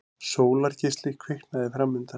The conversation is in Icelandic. Sólargeisli kviknaði framundan.